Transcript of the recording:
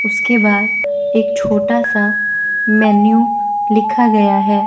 उसके बार एक छोटा सा मेन्यू लिखा गया है।